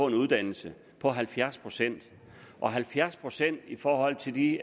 en uddannelse på halvfjerds procent og halvfjerds procent i forhold til de